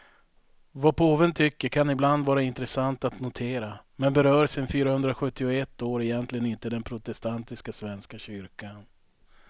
Vad påven tycker kan ibland vara intressant att notera, men berör sen fyrahundrasjuttioett år egentligen inte den protestantiska svenska kyrkan.